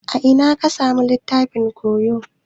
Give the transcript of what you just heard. A ina ka samu littafin koyo?